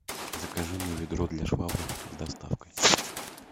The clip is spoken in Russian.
закажи мне ведро для швабры с доставкой